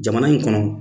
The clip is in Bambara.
Jamana in kɔnɔ